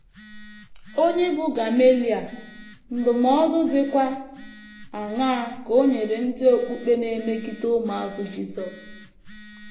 Ònye bụ Gameliel, ndụmọdụ dịkwa aṅaa ka o nyere ndị okpukpe na - emegide ụmụazụ Jisọs?